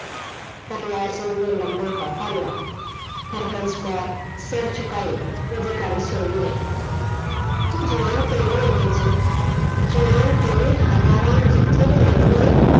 ਕਰਨੈਲ ਸਿੰਘ ਨੇ ਲੰਮਾ ਹੋਂਕਾ ਲਿਆ, ਹਰਬੰਸ ਕੌਰ ਸਿਰ ਝੁਕਾਈ ਉਹਦੀ ਗੱਲ ਸੁਣਦੀ ਰਹੀ ਤੂੰ ਜਵਾਨ ਬਾਂਸੋ, ਜਵਾਨ ਤੇਰੀ ਹਵਾ ਵਾਂਗ ਜਿੱਥੋਂ ਦੀ ਲੰਘਦੀ ਹੈ